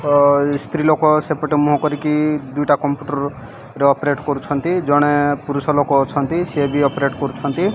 ସ୍ତ୍ରୀ ଲୋକ ସେପଟେ ମୁହଁ କରିକି ଦୁଇଟା କମ୍ପୁଟର ରେ ଅପରେଟ୍ କରୁଛନ୍ତି ଜଣେ ପୁରୁଷ ଲୋକ ଅଛନ୍ତି ସିଏ ବି ଅପରେଟ୍ କରୁଛନ୍ତି।